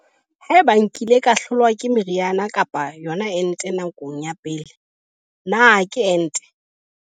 Potso- Haeba nkile ka hlolwa ke meriana kapa yona ente nakong ya pele, na ke ente?